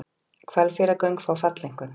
Hvalfjarðargöng fá falleinkunn